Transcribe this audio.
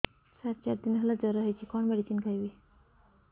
ସାର ଚାରି ଦିନ ହେଲା ଜ୍ଵର ହେଇଚି କଣ ମେଡିସିନ ଖାଇବି